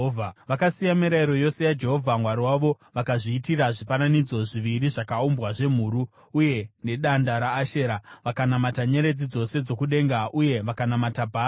Vakasiya mirayiro yose yaJehovha Mwari wavo vakazviitira zvifananidzo zviviri zvakaumbwa zvemhuru, uye nedanda reAshera. Vakanamata nyeredzi dzose dzokudenga, uye vakanamata Bhaari.